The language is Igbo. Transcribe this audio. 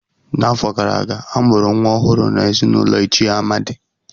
N'afọ gara aga, a mụrụ nwa ọhụrụ n'ezinụlọ Ichie Amadi.